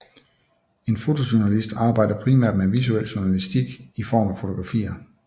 En fotojournalist arbejder primært med visuel journalistik i form af fotografier